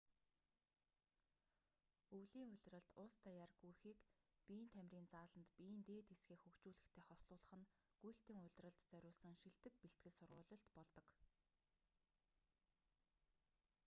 өвлийн улиралд улс даяар гүйхийг биеийн тамирын зааланд биеийн дээд хэсгээ хөгжүүлэхтэй хослуулах нь гүйлтийн улиралд зориулсан шилдэг бэлтгэл сургуулилт болдог